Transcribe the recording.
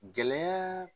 Gɛlɛya